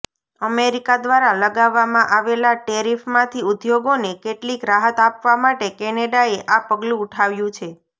America દ્વારા લગાવવામાં આવેલા ટેરિફમાંથી ઉદ્યોગોને કેટલીક રાહત આપવા માટે કેનેડાએ આ પગલું ઉઠાવ્યું છે